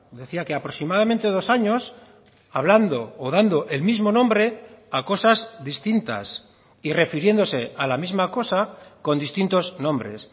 decía que aproximadamente dos años hablando o dando el mismo nombre a cosas distintas y refiriéndose a la misma cosa con distintos nombres